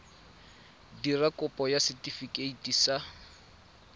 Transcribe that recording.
dira kopo ya setefikeiti sa